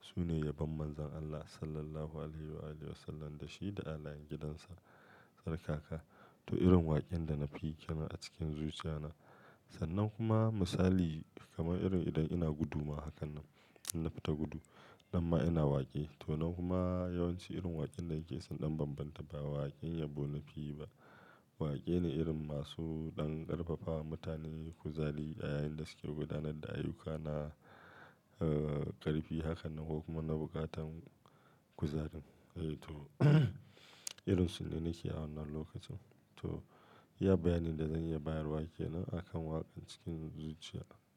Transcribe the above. sune yabon Manzon Allah Sallallahu Alaihi Wasallam da shi da halayan gidansa tsarkaka. To irin waƙin da na fi yi kam a cikin zuciya na. Sannan kuma misali kamar irin idan ina gudu ma hakan nan, idan na fita gudu nan ma ina waƙe. To nan kuma yawanci irin waƙin da yake son ɗan bambanta ba waƙin yabo na fi yi ba. Waƙe ne irin masu ɗan ƙarfafawa mutane, kuzali a yayin da suke gudanar da ayyuka na, eh ƙarfi hakan nan ko kuma na buƙatar kuzari. Eh to irin su ne nake a wannan lokacin. To ya bayanin da zanyi bayar waƙe ne akan waƙa cikin zuciya.